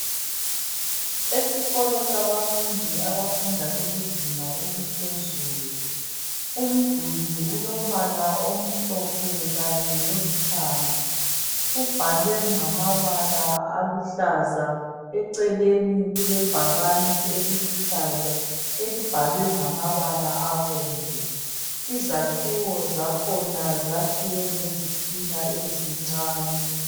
Esikolo sabafundi abafunda bekuzinga eliphezulu, umduli ulombala omhlophe kanye lolithanga ubhalwe ngamabala aluhlaza. Eceleni kulebhakani eliluhlaza elibhalwe ngamabala abomvu. Izakhiwo zakhona zakhiwe ngezitina ezincane